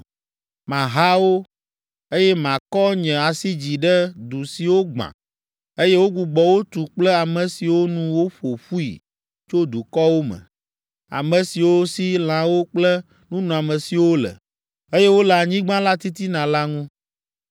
Maha wo, eye makɔ nye asi dzi ɖe du siwo gbã, eye wogbugbɔ wo tu kple ame siwo nu woƒo ƒui tso dukɔwo me, ame siwo si lãwo kple nunɔamesiwo le, eye wole anyigba la titina la ŋu.”